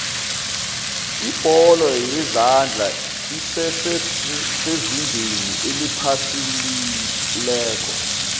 ibholo yezandla esese sezingeni eliphasiitle